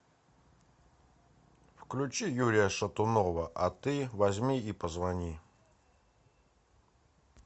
включи юрия шатунова а ты возьми и позвони